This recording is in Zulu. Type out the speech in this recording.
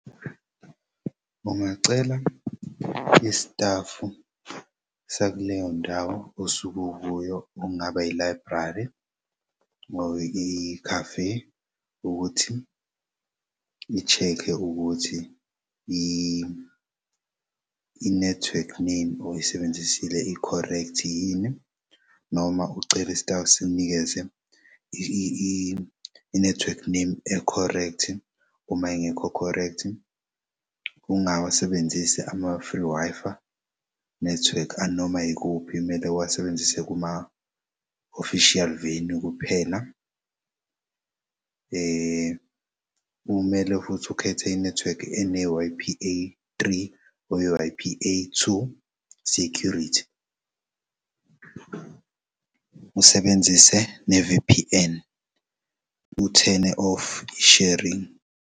Ungacela istafu sakuleyo ndawo osuke ukuyo, kungaba i-library or i-cafe ukuthi i-check-e ukuthi inethwekhi name oyisebenzisile ikhorekthi yini noma ucele istafu sikunikeze inethwekhi name ekhorekthi uma ingekho correct, ungawasebenzisi ama-free Wi-Fi network anomay'kuphi mele uwasebenzise kuma-official venue kuphela. Kumele futhi ukhethe inethwekhi ene-Y_P_A three or i-Y_P_A two security two, usebenzise ne-V_P_N, u-turn-e off i-sharing.